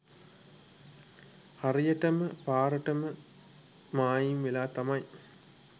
හරියටම පාරටම මායිම් වෙලා තමයි